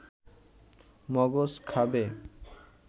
মগজ খাবে